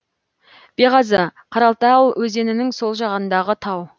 беғазы қаратал өзенінің сол жағындағы тау